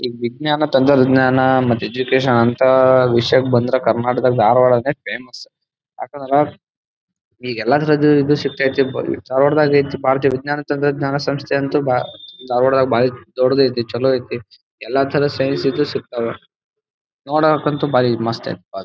ಈ ವಿಜ್ಞಾನ ತಂತ್ರಜ್ಞಾನ ಮತ್ ಎಜುಕೇಶನ್ ಅಂತ ವಿಷಯಕ್ಕೆ ಬಂದ್ರ ಕರ್ನಾಟಕ ದಲ್ ಧಾರವಾಡ ನೇ ಫೇಮಸ್ . ಯಾಕಂದ್ರ ಈಗ ಎಲ್ಲಾದ್ರಗೂ ವಿದ್ಯುತ್ ಶಕ್ತಿ ಐತಿ ಧಾರವಾಡ ದಾಗ್ ಐತಿ. ಭಾರತೀಯ ವಿಜ್ಞಾನ ತಂತ್ರಜ್ಞಾನ ಸಂಸ್ಥೆ ಅಂತು ಭಾ ಧಾರವಾಡ ದಾಗ್ ಭಾರಿ ದೊಡ್ಡದು ಐತಿ ಚಲೋ ಐತಿ ಎಲ್ಲಾ ತರಹದ ಸೇವೆ ಸಿಗ್ತಾವ ನೋಡಕ್ಕೆ ಅಂತೂ ಭಾರಿ ಮಸ್ತ್ ಐತಿ.